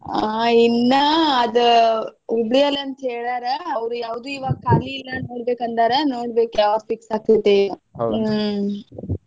ಆ ಇನ್ನ ಅದ Hubli ಯಲ್ಲಿ ಅಂತ ಹೇಳ್ಯಾರ ಅವ್ರ ಯಾವ್ದೂ ಇವಾಗ ಖಾಲಿ ಇಲ್ಲಾ ನೋಡ್ಬೇಕ ಅಂದಾರ ನೋಡ್ಬೇಕ್ ಯಾವ್ದ್ fix ಆಗ್ತೇತಿ ಏನೊ. ಹ್ಮ್.